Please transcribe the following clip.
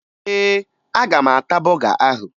Ee, aga m ata bọga ahụ